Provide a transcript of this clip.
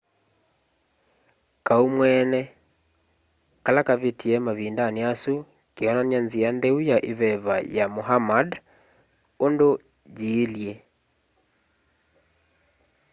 kaau mweene kala kavitie mavindani asu keonany'a nzia ntheu ya iveva ya muhammad undu yiilye